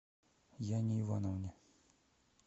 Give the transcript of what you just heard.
яне ивановне